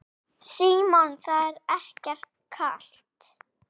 Símon: Það er ekkert kalt?